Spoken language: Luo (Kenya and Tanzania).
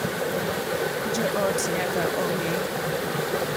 Jo ot nyaka ong’e .